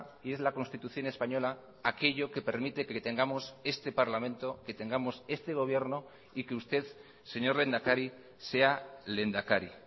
y es la constitución española aquello que permite que tengamos este parlamento que tengamos este gobierno y que usted señor lehendakari sea lehendakari